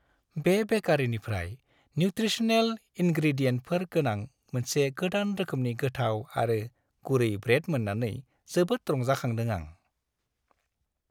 बे बेकारीनिफ्राय न्युत्रिसनेल इनग्रेडियेन्टफोर गोनां मोनसे गोदान रोखोमनि गोथाव आरो गुरै ब्रेड मोन्नानै जोबोद रंजाखांदों आं।